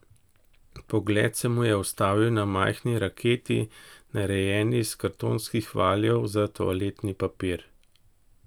Pogled se mu je ustavil na majhni raketi, narejeni iz kartonskih valjev za toaletni papir.